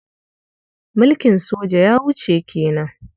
Mulkin soja ya wuce ke nan.